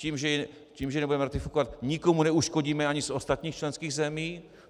Tím, že ji nebudeme ratifikovat, nikomu neuškodíme ani z ostatních členských zemí.